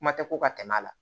Kuma tɛ ko ka tɛmɛ a la